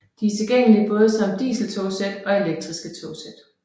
De er tilgængelige både som diseltogsæt og elektriske togsæt